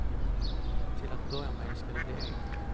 Till att börja med ska de bli en.